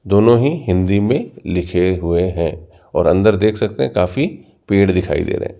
दोनों ही हिंदी में लिखे हुए हैं और अंदर देख सकते हैं काफी पेड़ दिखाई दे रहे--